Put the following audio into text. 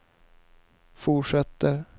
fortsätter